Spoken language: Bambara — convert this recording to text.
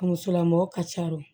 A musolamɔgɔ ka ca o